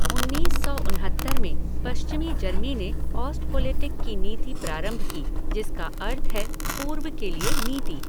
उन्नीस्स सौ उनहत्तर में पश्चिमी जर्मनी ने ओस्टथपोलिटिक की नीति प्रारंभ की जिसका अर्थ है पूर्व के लिए नीति।